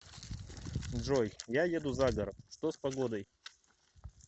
джой я еду за город что с погодой